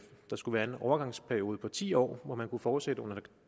der skulle være en overgangsperiode på ti år hvor man kunne fortsætte under